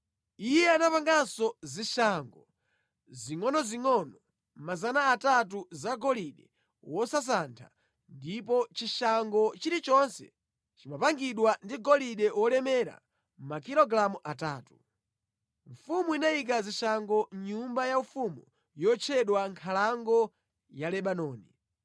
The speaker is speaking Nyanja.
Iye anapanganso zishango zingʼonozingʼono 300 zagolide wosasantha ndipo chishango chilichonse chimapangidwa ndi golide wolemera makilogalamu atatu. Mfumu inayika zishangozi mʼnyumba yaufumu yotchedwa Nkhalango ya Lebanoni.